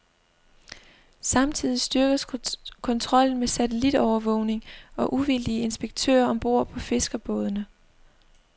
Samtidig styrkes kontrollen med satellitovervågning og uvildige inspektører om bord på fiskerbådene.